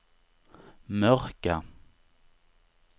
mörka